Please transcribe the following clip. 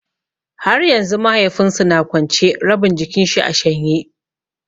Har yanzu mahaifin su na kwance, rabin jikin shi a shanye.